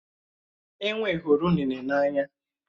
Enwé hụrụ unéné n'anya